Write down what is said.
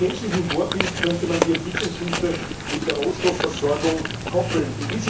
Nach chinesischem Vorbild könnte man die Entwicklungshilfe mit der Rohstoffversorgung koppeln.